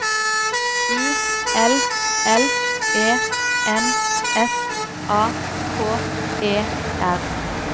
U L L E N S A K E R